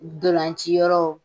Ntolanciyɔrɔ